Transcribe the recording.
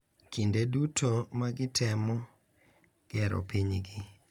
Kinde duto magitemo gero pinygi.